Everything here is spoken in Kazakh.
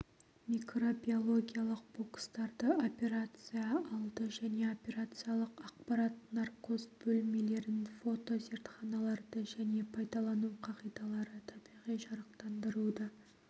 микробиологиялық бокстарды операция алды және операциялық аппарат наркоз бөлмелерін фотозертханаларды және пайдалану қағидалары табиғи жарықтандыруды